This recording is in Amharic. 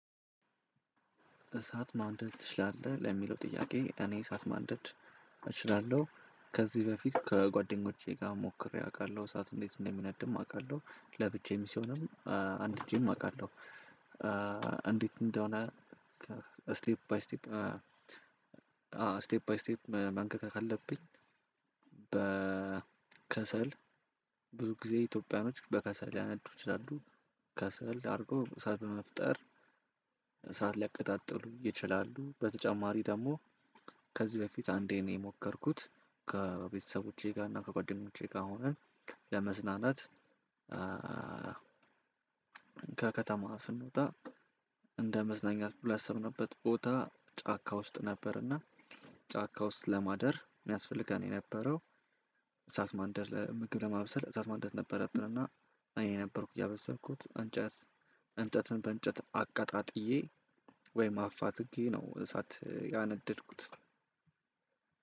እሳት ማንደድ ትችላለህ ለሚለው ጥያቄ እኔ እሳት ማንደድ እችላለሁ ከዚህ በፊት ከጓደኞቼ ጋር ሞክሬ አውቃለሁ። እሳት እንዴት እንደሚነድም አውቃለሁ ለብቻዬም ሲሆንም አንድጄም አውቃለሁ። እንዴት እንደሆነ ስቴፕ ባይ ስቴፕ ባይ ስቴፕ መነካካት አለብኝ። በከሰል ብዙ ጊዜ ኢትዮጵያኖች በከሰል ሊያነዱ ይችላሉ። ከሰል አድርጎ እሳት በመፍጠር እሳት ሊያቀጣጥሉ ይችላሉ። በተጨማሪ ደግሞ። ከዚህ በፊት አንዴ ነው የሞከርኩት። ከቤተሰቦቼ ጋር እና ከጓደኞቼ ጋር ሆነን ለመዝናናት። ከከተማ ስንወጣ እንደ መዝናኛት ሁላ ያሰብንበት ቦታ ጫካ ውስጥ ነበርና። ጫካ ውስጥ ለማደር የሚያስፈልገን የነበረው። እሳት ማንደድ ምግብ ለማብሰል እሳት ማንደድ ነበረብንና። እኔ ነበር ያበሰልኩት። እንጨትን በእንጨት አቀጣጥዬ ወይም አፋትኬ ነው እንሳት ያነደድኩት።